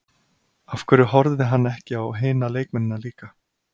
Af hverju horfði hann ekki á hina leikmennina líka?